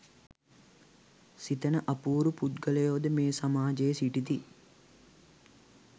සිතන අපූරු පුද්ගලයෝද මේ සමාජයේ සිටිති.